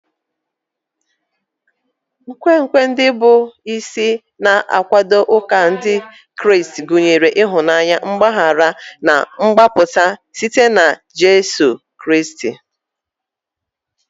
Nkwenkwe ndị bụ isi na-akwado ụka Ndị Kraịst gụnyere ịhụnanya, mgbaghara, na mgbapụta site na Jizọs Kraịst.